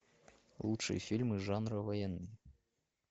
лучшие фильмы жанра военный